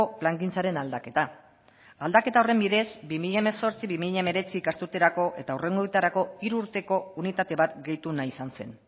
plangintzaren aldaketa aldaketa horren bidez bi mila hemezortzi bi mila hemeretzi ikasturterako eta hurrengoetarako hiru urteko unitate bat gehitu nahi izan zen